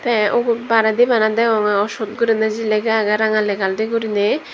tey ubot baredi bana degongey owsot guriney lega agey ranga legandi guriney.